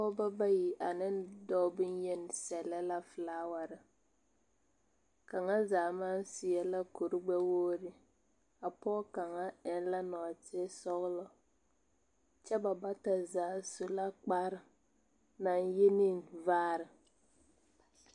Pogeba bayi ane doɔ boyeni sɛle la fulaware. Kanga zaa mang sɛe la kur gbɛwuogre. A poge kanga eŋ la norter sɔglɔ. Kyɛ ba bata zaa su la kpar na yeni vaare.